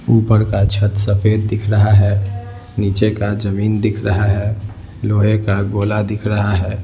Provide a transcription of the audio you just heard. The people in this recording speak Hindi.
ऊपर का छत सफ़ेद दिख रहा है नीचे का जमीन दिख रहा है लोहे का गोला दिख रहा है।